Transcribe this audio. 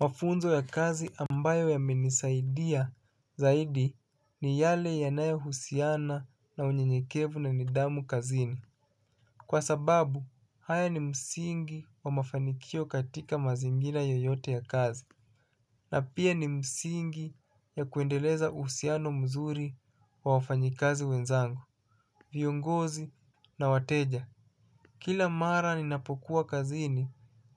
Mafunzo ya kazi ambayo yamenisaidia zaidi ni yale yanayo husiana na unyenyekevu na nidhamu kazini. Kwa sababu, haya ni msingi wa mafanikio katika mazingira yoyote ya kazi. Na pia ni msingi ya kuendeleza uhusiano mzuri wa wafanyikazi wenzangu. Viongozi na wateja. Kila mara ninapokuwa kazini,